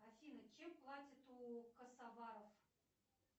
афина чем платят у косоваров